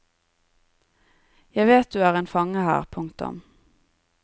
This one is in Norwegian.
Jeg vet du er en fange her. punktum